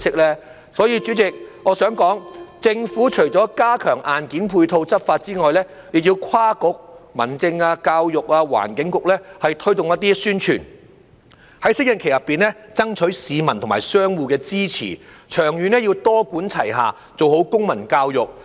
因此，主席，我想指出，政府除要加強硬件配套執法外，亦要跨局由民政事務、教育、環境局等推動宣傳，在適應期內爭取市民和商戶支持，長遠要多管齊下，做好公民教育。